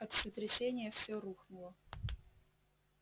от сотрясения всё рухнуло